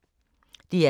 DR K